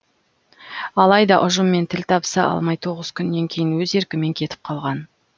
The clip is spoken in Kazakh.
алайда ұжыммен тіл табыса алмай тоғыз күннен кейін өз еркімен кетіп қалған